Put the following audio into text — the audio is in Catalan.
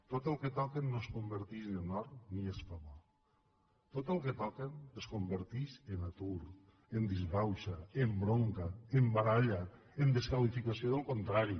tot el que toquen no es converteix en or ni es fa bo tot el que toquen es converteix en atur en disbauxa en bronca en baralla en desqualificació del contrari